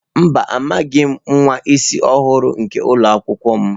Mba, amaghim nwa isi ọhụrụ nke ụlọ akwụkwọ m.